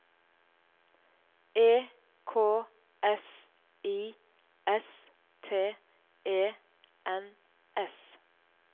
E K S I S T E N S